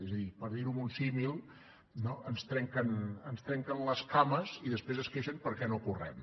és a dir per dir ho amb un símil no ens trenquen les cames i després es queixen perquè no correm